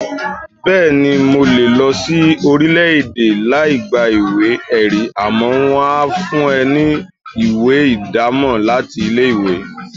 Bẹ́ẹ̀ni, mo lè lọ sin orílẹ̀-èdè láì gba ìwé-ẹ̀rí, àmọ́ wón á fún ẹni ní ìwé ìdámọ̀ láti ilé-ìwé.